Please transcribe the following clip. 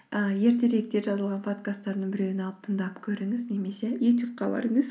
ыыы ертеректе жазылған подкасттарымның біреуін алып тыңдап көріңіз немесе ютюбқа барыңыз